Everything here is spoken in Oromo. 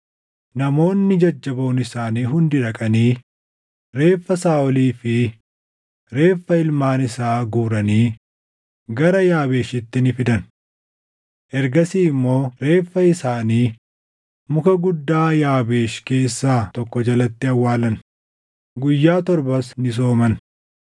namoonni jajjaboon isaanii hundi dhaqanii reeffa Saaʼolii fi reeffa ilmaan isaa guuranii gara Yaabeeshitti ni fidan. Ergasii immoo reeffa isaanii muka guddaa Yaabeesh keessaa tokko jalatti awwaalan; guyyaa torbas ni sooman.